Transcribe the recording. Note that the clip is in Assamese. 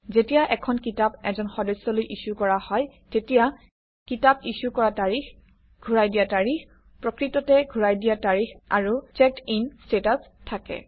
যেতিয়া এখন কিতাপ এজন সদস্যলৈ ইছ্যু কৰা হয় তেতিয়া কিতাপ ইছ্যু কৰা তাৰিখ ঘূৰাই দিয়া তাৰিখ প্ৰকৃততে ঘূৰাই দিয়া তাৰিখ আৰু চেকড্ ইন ষ্টেটাচ থাকে